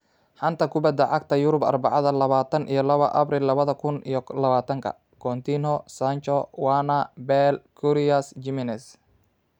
Xanta kubadda cagta ee Yurub Arbacada, lawatan iyo lawa Abriil lawadha kun iyo lawatanka: Coutinho, Sancho, Werner, Bale, Karius, Jimenez.